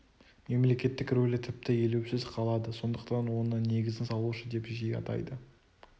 мемлекеттің рөлі тіпті елеусіз қалады сондықтан оны негізін салушы деп жиі атайды